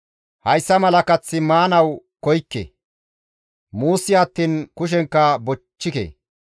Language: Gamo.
Hayssa mala kath maanaas koykke; muusi attiin kushenkka bochchike.